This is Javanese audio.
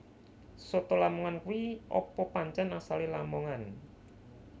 Soto lamongan kui apa pancen asale Lamongan